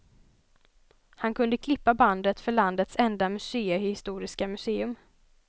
Han kunde klippa bandet för landets enda museihistoriska museum.